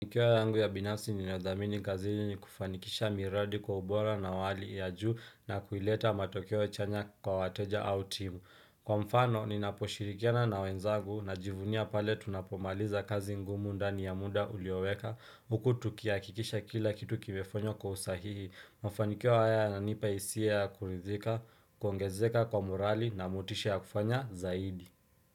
Mufanikio yangu ya binafsi ninayo dhamini kazini ni kufanikisha miradi kwa ubora na wa hali ya juu na kuileta matokeo chanya kwa wateja au timu. Kwa mfano, ninaposhirikiana na wenzagu najivunia pale tunapomaliza kazi ngumu ndani ya muda ulioweka. Huku tukihakikisha kila kitu kimefenywa kwa usahihi. Mufanikio haya yananipa hisia ya kuridhika, kuongezeka kwa morali na motisha ya kufanya zaidi.